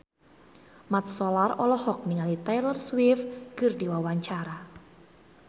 Mat Solar olohok ningali Taylor Swift keur diwawancara